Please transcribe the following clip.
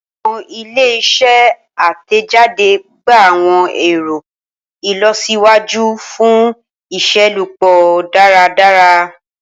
Awọn ile-iṣẹ atẹjade gba awọn ẹrọ ilọsiwaju fun iṣelọpọ daradara.